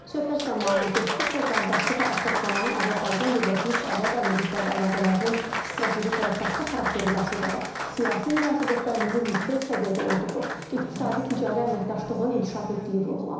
Söhbət zamanı dostluq və qardaşlığa əsaslanan Azərbaycan-Birləşmiş Ərəb Əmirlikləri əlaqələrinin strateji tərəfdaşlıq xarakteri daşıdığı, siyasi münasibətlərimizin yüksək səviyyədə olduğu, iqtisadi-ticarət əməkdaşlığın inkişaf etdiyi vurğulanıb.